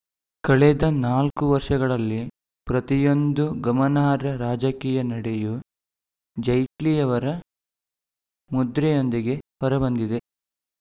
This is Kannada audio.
ಕಳೆದ ನಾಲ್ಕು ವರ್ಷಗಳಲ್ಲಿ ಪ್ರತಿಯೊಂದು ಗಮನಾರ್ಹ ರಾಜಕೀಯ ನಡೆಯೂ ಜೈಟ್ಲಿಯವರ ಮುದ್ರೆಯೊಂದಿಗೇ ಹೊರಬಂದಿದೆ